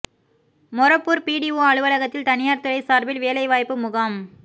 Morappur BDO அலுவலகத்தில் தனியார் துறை சார்பில் வேலை வாய்ப்பு முகாம்